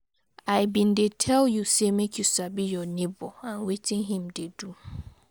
I been dey tel you say make you sabi your nebor and wetin him dey do.